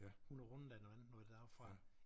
Hun er rundet af noget andet noget deroppefra